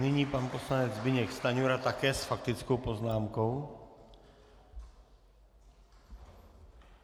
Nyní pan poslanec Zbyněk Stanjura také s faktickou poznámkou.